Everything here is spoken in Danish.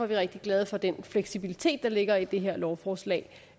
vi rigtig glade for den fleksibilitet der ligger i det her lovforslag